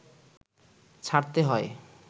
ছাড়তে হয়